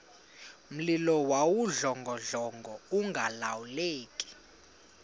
mlilo wawudlongodlongo ungalawuleki